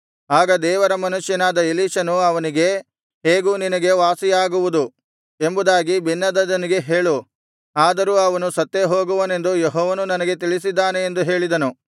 ಆಗ ದೇವರ ಮನುಷ್ಯನಾದ ಎಲೀಷನು ಅವನಿಗೆ ಹೇಗೂ ನಿನಗೆ ವಾಸಿಯಾಗುವುದು ಎಂಬುದಾಗಿ ಬೆನ್ಹದದನಿಗೆ ಹೇಳು ಆದರೂ ಅವನು ಸತ್ತೇ ಹೋಗುವನೆಂದು ಯೆಹೋವನು ನನಗೆ ತಿಳಿಸಿದ್ದಾನೆ ಎಂದು ಹೇಳಿದನು